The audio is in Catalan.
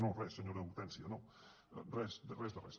no res senyora hortènsia no res de res